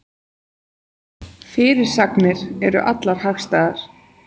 Fyrirsagnir eru allar hagstæðar